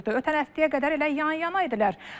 Ötən həftəyə qədər elə yan-yanaydılar.